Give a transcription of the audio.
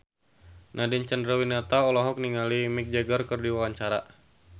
Nadine Chandrawinata olohok ningali Mick Jagger keur diwawancara